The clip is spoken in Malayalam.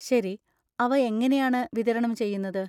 ശരി, അവ എങ്ങനെയാണ് വിതരണം ചെയ്യുന്നത്?